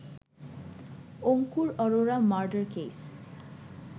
Ankur Arora murder case